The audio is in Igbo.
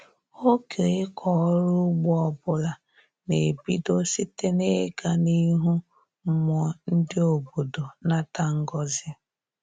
Oge ịkọ ọrụ ugbo ọbụla na-ebido site na-ịga n'ihu mmụọ ndị obodo nata ngọzị